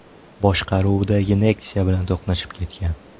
boshqaruvidagi Nexia bilan to‘qnashib ketgan.